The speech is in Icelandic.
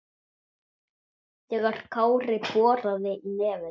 þegar Kári boraði í nefið.